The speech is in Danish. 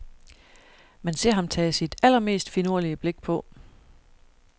Man ser ham tage sit allermest finurlige blik på.